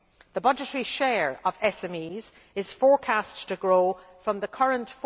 The budgetary share of SMEs is forecast to grow from the current